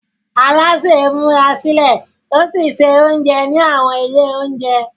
Alásè ń múra sílẹ̀ ó sì ń se oúnjẹ ní àwọn ilé oúnjẹ.